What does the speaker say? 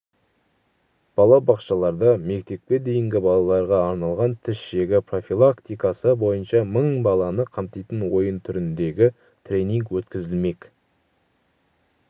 балабақшаларда мектепке дейінгі балаларға арналған тіс жегі профилактикасы бойынша мың баланы қамтитын ойын түріндегі тренинг өткізілмек